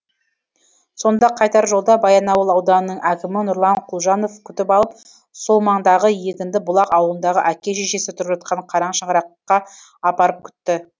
сонда қайтар жолда баянауыл ауданының әкімі нұрлан құлжанов күтіп алып сол маңдағы егінді бұлақ ауылындағы әке шешесі тұрып жатқан қара шаңыраққа апарып күтті